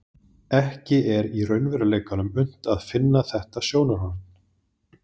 Ekki er í raunveruleikanum unnt að finna þetta sjónarhorn.